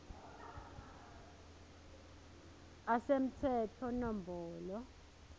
a semtsetfo nombolo